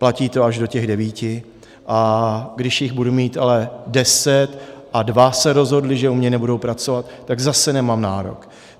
Platí to až do těch devíti, a když jich budu mít ale deset a dva se rozhodli, že u mě nebudou pracovat, tak zase nemám nárok.